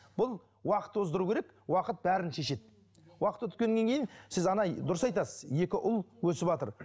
бұл уақыт тоздыру керек уақыт бәрін шешеді уақыт өткеннен кейін сіз дұрыс айтасыз екі ұл өсіватыр